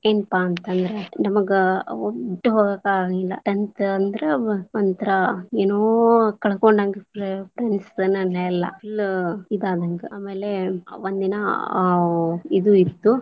ಏನಪಾ ಅಂತಂದ್ರ ನಮಗ tenth ಅಂದ್ರ ಒಂತರ ಏನೊ ಕಳಕೊಂಡಂಗ full ಇದ ಆದಂಗ, ಆಮೇಲೆ ಒಂದ ದಿನಾ ಇದು ಇತ್ತ.